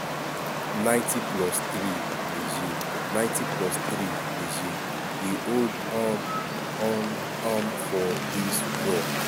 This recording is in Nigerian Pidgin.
90+3"niger 90+3"niger dey hold um on um for dis draw.